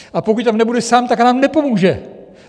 A pokud tam nebude sám, tak nám nepomůže!